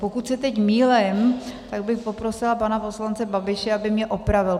Pokud se teď mýlím, tak bych poprosila pana poslance Babiše, aby mě opravil.